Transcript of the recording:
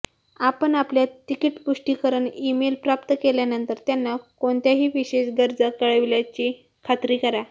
आपण आपल्या तिकीट पुष्टीकरण ईमेल प्राप्त केल्यानंतर त्यांना कोणत्याही विशेष गरजा कळविल्याची खात्री करा